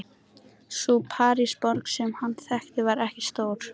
Sú Parísarborg sem hann þekkti var ekki stór.